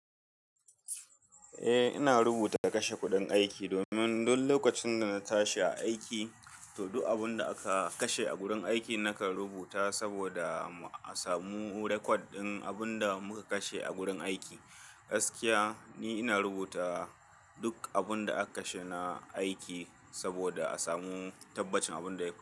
Eh, ina rubuta kashe kuɗin aiki domin duk lokacin da na tashi a aiki, to duk abun da aka kashe a gurin aikin nakan rubuta saboda a samu record ɗin abun da muka kashe a gurin aiki. Gaskiya, ni ina rubuta duk abun da aka kashe na aiki saboda a samu tabbacin abin da ya fa--.